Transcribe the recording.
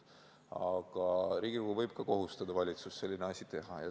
Aga Riigikogu võib ka kohustada valitsust sellist asja tegema.